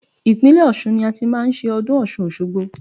Ìpínlẹ̀ Ọ̀ṣun ni a ti máa ń ṣe ọdún Ọ̀ṣun òṣogbo.